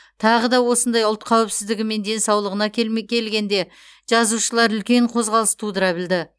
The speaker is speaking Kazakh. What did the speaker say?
тағы да осындай ұлт қауіпсіздігі мен денсаулығына келме келгенде жазушылар үлкен қозғалыс тудыра білді